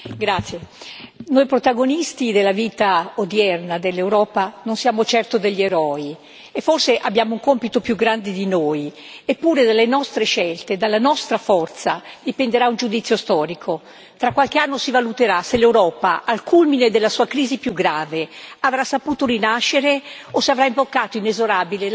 Signora Presidente, onorevoli colleghi, noi protagonisti della vita odierna dell'Europa non siamo certo degli eroi, e forse abbiamo un compito più grande di noi, eppure dalle nostre scelte e dalla nostra forza dipenderà un giudizio storico. Tra qualche anno si valuterà se l'Europa, al culmine della sua crisi più grave, avrà saputo rinascere o se avrà imboccato inesorabile la via della dissoluzione.